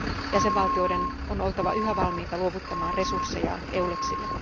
Jäsenvaltioiden on oltava yhä valmiita luovuttamaan resurssejaan EULEXille.